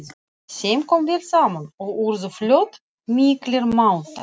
Þeim kom vel saman og urðu fljótt miklir mátar.